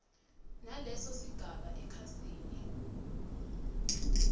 naleso sigaba ekhasini